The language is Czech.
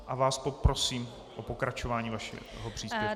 A vás poprosím o pokračování vašeho příspěvku.